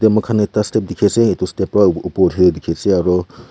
moi kan ekta step diki asae etu step para opor aroo.